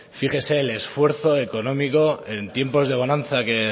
fíjese el esfuerzo económico en tiempos de bonanza que